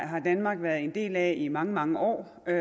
har danmark været en del af i mange mange år og